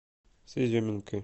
с изюминкой